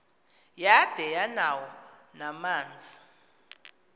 yada yanawo namanzi